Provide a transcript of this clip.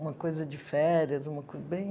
Uma coisa de férias, uma co bem